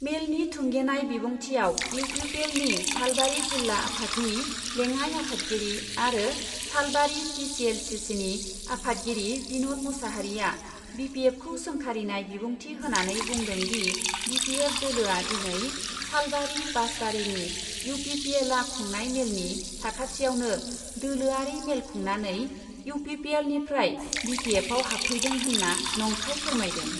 मेलनि थुंगेनाय बिबुंथियाव इउ पि पि एलनि सालबारि जिल्ला आफादनि लेङाइ आफादगिरि आरो Salbari T C L C सिनि आफादगिरि बिन'द मुसाहारिआ बि पि एफखौ सोंखारिनाय बिबुंथि होनानै बुंदों दि बि पि एफ दोलोआ दिनै सालबारि बासबारिनि इउ पि पि एलआ खुंनाय मेलनि साखाथियावनो दोलोआरि मेल खुंनानै इउ पि पि एलनिफ्राय बि पि एफआव हाबफैदों होन्ना नंखाय फोरमायदों।